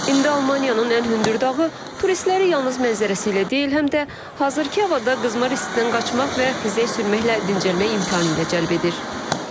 İndi Almaniyanın ən hündür dağı turistləri yalnız mənzərəsi ilə deyil, həm də hazırkı havada qızmar istidən qaçmaq və buzda sürməklə dincəlməyə imkanı ilə cəlb edir.